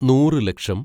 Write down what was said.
നൂറ് ലക്ഷം